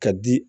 Ka di